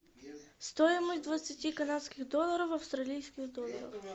стоимость двадцати канадских долларов в австралийских долларах